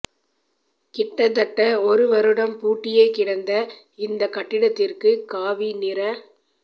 கிட்டத்தட்ட ஒரு வருடம் பூட்டியே கிடந்த இந்த கட்டடத்திற்கு காவி நிற